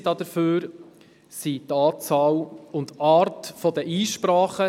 Indizien hierfür sind die Anzahl und die Art der Einsprachen.